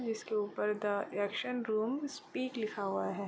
इसके ऊपर the action room speak लिखा है।